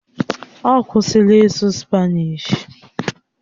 Ọ kwụsịla ịsụ Spanishi?